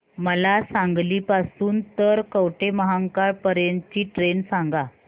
मला सांगली पासून तर कवठेमहांकाळ पर्यंत ची ट्रेन सांगा